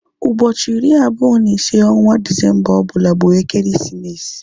Ụbọchị iri abụọ na ise onwa Disemba ọbụla bụ ekeresimesi